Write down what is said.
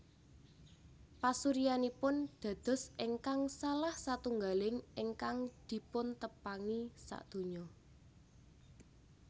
Pasuryanipun dados ingkang salah satunggaling ingkang dipuntepangi sadonya